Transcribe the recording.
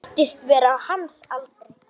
Guðni var staðinn á fætur.